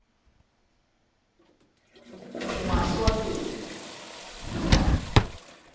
emaswakeni